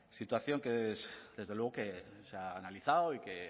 situación que desde luego que se ha analizado y que